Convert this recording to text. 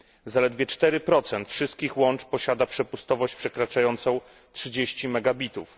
Zaledwie 4 wszystkich łączy posiada przepustowość przekraczającą 30 megabitów.